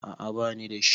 a a ba ni da shi